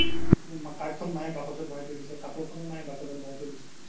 card খন মাইয়ে বাকচত ভোৰাই থই দিছে কাপোৰ খন মাইয়ে বাকচত ভোৰাই থই দিছে